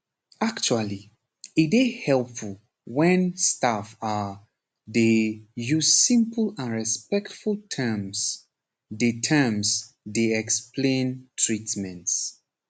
actually e dey helpful wen staff ah dey use simple and respectful terms dey terms dey explain treatments